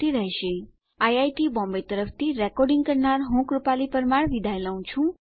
IIT Bombay તરફથી spoken tutorial project માટે ભાષાંતર કરનાર હું જ્યોતી સોલંકી વિદાય લઉં છું